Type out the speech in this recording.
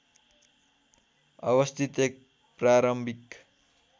अवस्थित एक प्रारम्भिक